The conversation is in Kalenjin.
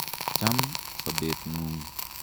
Cham sopet ng'ung'